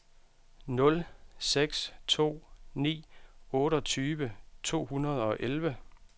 nul seks to ni otteogtyve to hundrede og elleve